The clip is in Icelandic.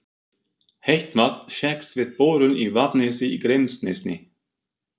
Heitt vatn fékkst við borun í Vaðnesi í Grímsnesi.